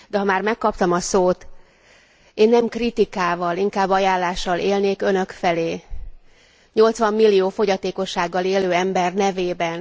De ha már megkaptam a szót, én nem kritikával, inkább ajánlással élnék Önök felé 80 millió fogyatékossággal élő ember nevében.